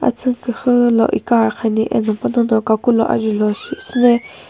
atsunkuxu lo iqakhani eno panono kakulo ajulhou shisune--